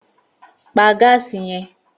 Pa gáàsì ye̩n!